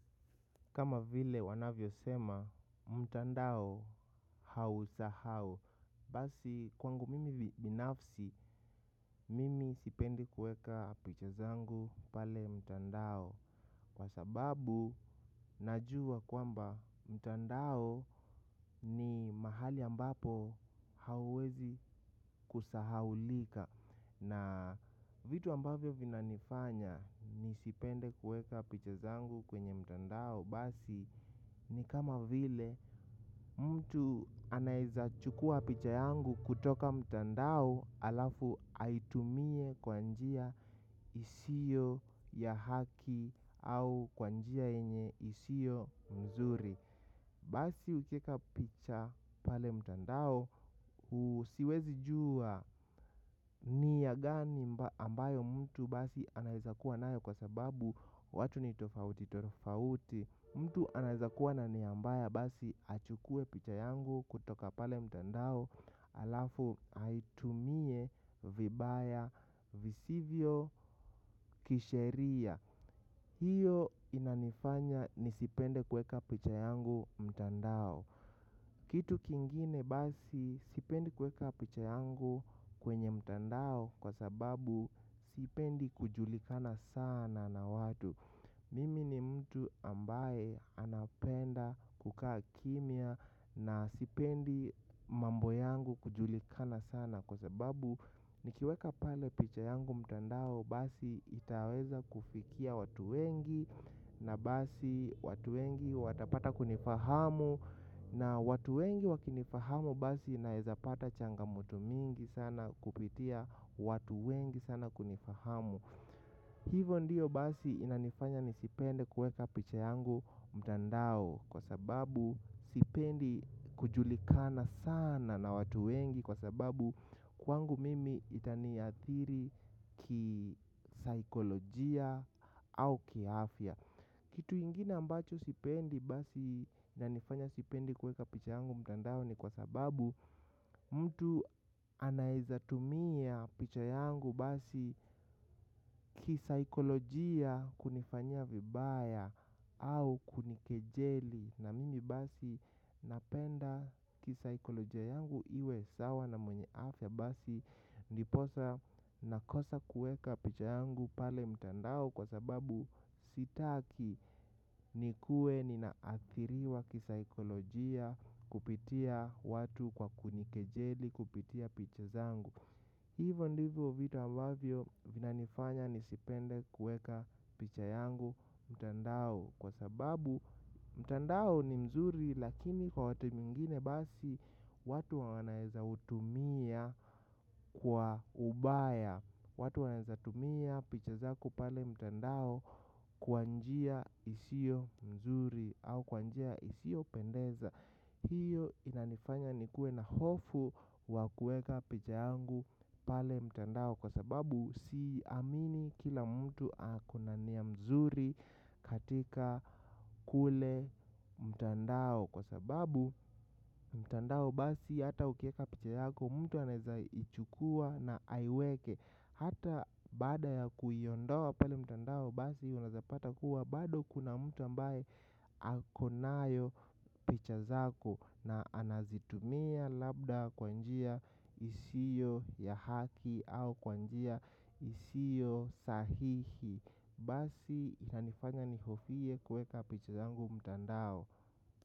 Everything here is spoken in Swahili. Kama vile wanavyosema mtandao hausahau. Basi kwangu mimi binafsi mimi sipendi kuweka picha zangu pale mtandao kwa sababu najua kwamba mtandao ni mahali ambapo hauwezi kusahaulika. Na vitu ambavyo vinanifanya nisipende kuweka picha zangu kwenye mtandao basi ni kama vile mtu anaeza chukua picha yangu kutoka mtandao alafu aitumie kwa njia isiyo ya haki au kwa njia yenye isiyo mzuri. Basi ukieka picha pale mtandao siwezi jua nia gani ambayo mtu basi anaeza kuwa nayo kwa sababu watu ni tofauti tofauti. Mtu anaeza kuwa na nia mbaya basi achukue picha yangu kutoka pale mtandao alafu aitumie vibaya visivyo kisheria. Hiyo inanifanya nisipende kuweka picha yangu mtandao. Kitu kingine basi sipendi kuweka picha yangu kwenye mtandao kwa sababu sipendi kujulikana sana na watu. Mimi ni mtu ambaye anapenda kukaa kimya na sipendi mambo yangu kujulikana sana kwa sababu nikiweka pale picha yangu mtandao basi itaweza kufikia watu wengi na basi watu wengi watapata kunifahamu. Na watu wengi wakinifahamu basi naeza pata changamoto mingi sana kupitia watu wengi sana kunifahamu. Hivyo ndiyo basi inanifanya nisipende kuweka picha yangu mtandao kwa sababu sipendi kujulikana sana na watu wengi kwa sababu kwangu mimi itaniathiri kisaikolojia au kiafya. Kitu ingine ambacho sipendi basi inanifanya sipendi kuweka picha yangu mtandao ni kwa sababu mtu anaeza tumia picha yangu basi kisaikolojia kunifanyia vibaya au kunikejeli na mimi basi napenda kisaikolojia yangu iwe sawa na mwenye afya basi ndiposa nakosa kuweka picha yangu pale mtandao kwa sababu sitaki nikuwe ninaathiriwa kisaikolojia kupitia watu kwa kunikejeli kupitia picha zangu. Hivyo ndivyo vitu ambavyo vinanifanya nisipende kuweka picha yangu mtandao kwa sababu mtandao ni mzuri lakini kwa watu mingine basi watu wanaezautumia kwa ubaya. Watu wanaeza tumia picha zangu pale mtandao kwa njia isiyo mzuri au kwa njia isiyopendeza. Hiyo inanifanya nikuwe na hofu wa kuweka picha yangu pale mtandao kwa sababu siamini kila mtu akona nia mzuri katika kule mtandao kwa sababu mtandao basi hata ukieka picha yako mtu anaeza ichukua na aiweke hata bada ya kuiondoa pale mtandao basi unaeza pata kuwa bado kuna mtu ambaye akonayo picha zako na anazitumia labda kwa njia isiyo ya haki au kwa njia isiyo sahihi. Basi inanifanya nihofie kuweka picha zangu mtandao.